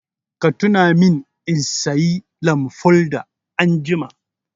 Ka tuna min in sayi lamfoda anjima!